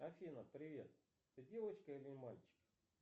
афина привет ты девочка или мальчик